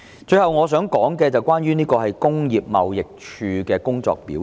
最後，我想談談工業貿易署的工作表現。